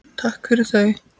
Takk fyrir þau.